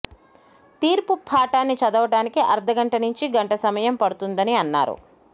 తీర్పు పాఠాన్ని చదవడాన్ని అర్థగంట నుంచి గంట సమయం పడుతుందని అన్నారు